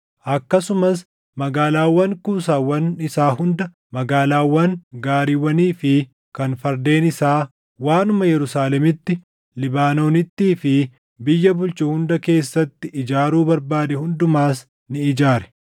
akkasumas magaalaawwan kuusaawwan isaa hunda, magaalaawwan gaariiwwanii fi kan fardeen isaa, waanuma Yerusaalemitti, Libaanoonittii fi biyya bulchu hunda keessatti ijaaruu barbaade hundumas ni ijaare.